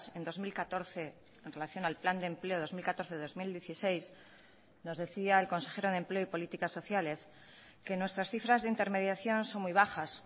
en dos mil catorce en relación al plan de empleo dos mil catorce dos mil dieciséis nos decía el consejero de empleo y políticas sociales que nuestras cifras de intermediación son muy bajas